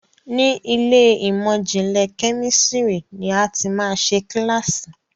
ní Ilé ìmọ̀n-jinlẹ Kẹ́mísìrì ní a tí má ṣe kilasi.